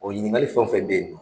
O ɲinikali fɛn o fɛn bɛ ye